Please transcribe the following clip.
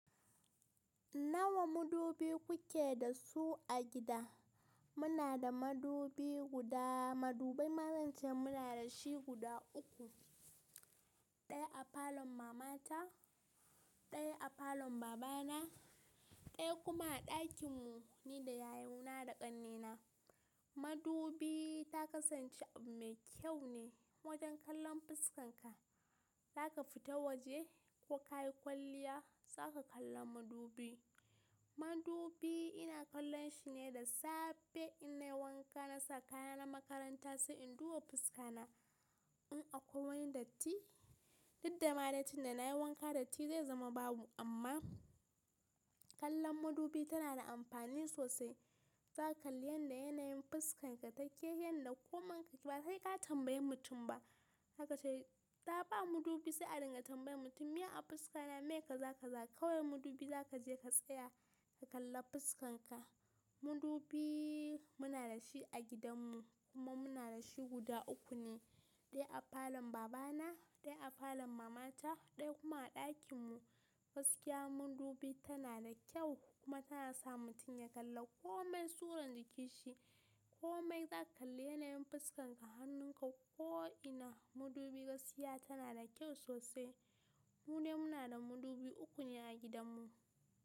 Nawa mudubi kuke da su a gida? Muna da madubi guda, madubai ma zance muna da shi guda uku, ɗaya a falon mamata, ɗaya a falon babana, ɗaya kuma a ɗakin mu ni da yayu na da ƙannena. Madubi, ta kasance abu mai kyau ne, wajen kallon fuskarka. Zaka fita waje ko kayi kwalliya zaka kalla madubi. Madubi ina kallon shi ne da safe innai wanka nasa kaya na makaranta sai in duba fuskana in akwai datti. Duk dama dai tunda na nayi wanka datti zai zama babu amma kallon madubi tana da amfani sosai. Zaka kalli yanda yanayin fuskarka take, yanda komai ka ke ba sai ka tambayi mutum ba. Zaka ce ta ba madubi sai a dinga tambayar mutum. Miya a fuskata me kaza kaza kawai madubi zaka je ka tsaya ka kalla fuskarka. Madubi muna da shi a gidan mu kuma muna da shi guda uku ne. Ɗaya a falon babana, ɗaya a falon mamata, ɗaya kuma a ɗakin mu. Gaskiya madubi tana da kyau kuma tana sa mutum ya kalla komai surar jikinsa. Komai zaka kalli yanayin fuskarka, hannunka ko'ina madubi gaskiya tana da kyau sosai. Mu dai muna da madubi uku ne a gidan mu.